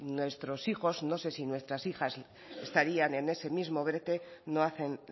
nuestro hijos no sé si nuestras hijas estarían en ese mismo brete no hacen